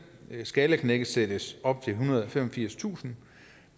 skalaknækket sættes op til ethundrede og femogfirstusind